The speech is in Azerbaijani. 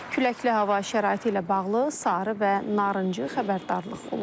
Küləkli hava şəraiti ilə bağlı sarı və narıncı xəbərdarlıq olunub.